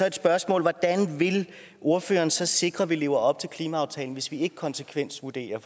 et spørgsmål hvordan vil ordføreren så sikre at vi lever op til klimaaftalen hvis vi ikke konsekvensvurderer